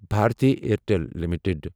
Bharti Airtel limited